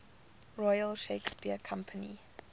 royal shakespeare company